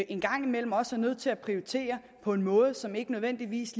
en gang imellem også er nødt til at prioritere på en måde som ikke nødvendigvis